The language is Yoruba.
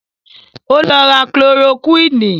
Ó lọ ra kúlorokúwìnì